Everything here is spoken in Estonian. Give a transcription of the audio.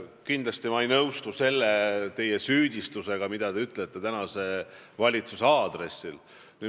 Kindlasti ei nõustu ma selle teie süüdistusega, mille te esitasite tänase valitsuse aadressil.